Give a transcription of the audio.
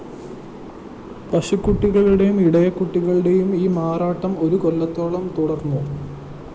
പശുകുട്ടികളുടെയും ഇടയക്കുട്ടികളുടെയും ഈ മാറാട്ടം ഒരു കൊല്ലത്തോളം തുടര്‍ന്നു